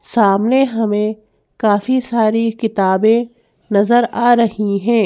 सामने हमें काफी सारी किताबें नजर आ रही हैं।